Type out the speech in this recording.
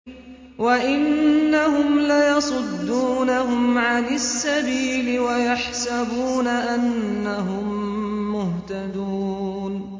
وَإِنَّهُمْ لَيَصُدُّونَهُمْ عَنِ السَّبِيلِ وَيَحْسَبُونَ أَنَّهُم مُّهْتَدُونَ